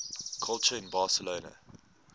culture in barcelona